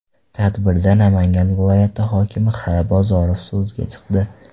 Tadbirda Namangan viloyati hokimi X. Bozorov so‘zga chiqdi.